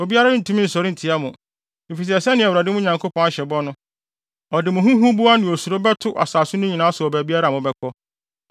Obiara rentumi nsɔre ntia mo, efisɛ sɛnea Awurade, mo Nyankopɔn, ahyɛ bɔ no, ɔde mo ho huboa ne osuro bɛto asase no nyinaa so wɔ baabiara a mobɛkɔ.